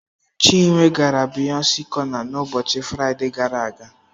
Chinwe gara Biyọnce cọna n'ụbọchị Fraịde gara aga.